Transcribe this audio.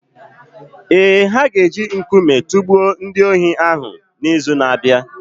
Ee, ha ga-eji nkume tụgbuo ndị ohi hụ n’izu na-abịa.